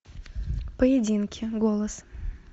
поединки голос